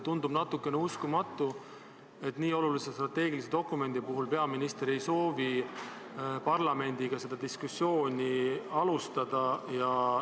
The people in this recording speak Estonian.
Tundub natukene uskumatu, et nii olulise strateegilise dokumendi puhul peaminister ei soovi parlamendiga diskussiooni alustada.